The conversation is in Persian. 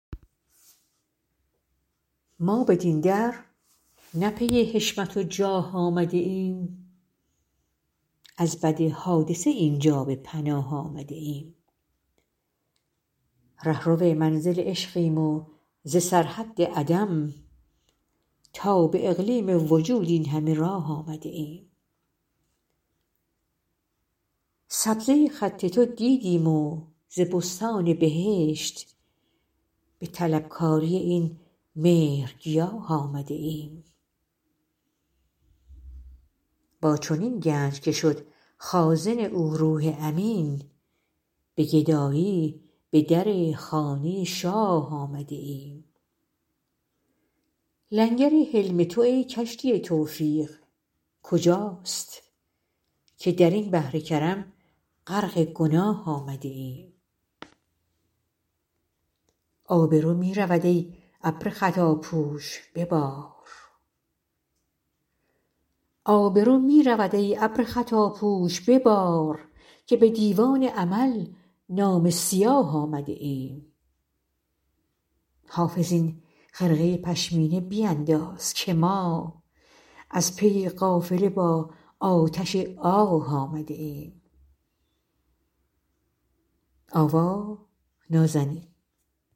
ما بدین در نه پی حشمت و جاه آمده ایم از بد حادثه این جا به پناه آمده ایم رهرو منزل عشقیم و ز سرحد عدم تا به اقلیم وجود این همه راه آمده ایم سبزه خط تو دیدیم و ز بستان بهشت به طلبکاری این مهرگیاه آمده ایم با چنین گنج که شد خازن او روح امین به گدایی به در خانه شاه آمده ایم لنگر حلم تو ای کشتی توفیق کجاست که در این بحر کرم غرق گناه آمده ایم آبرو می رود ای ابر خطاپوش ببار که به دیوان عمل نامه سیاه آمده ایم حافظ این خرقه پشمینه بینداز که ما از پی قافله با آتش آه آمده ایم